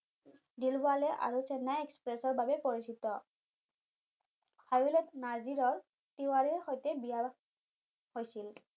দিলৱালে আৰু চেন্নাই এক্সপ্ৰেছৰ বাবে পৰিচিত নাৰ্জীৰৰ তিৱাৰীৰ সৈতে বিয়া হৈছিল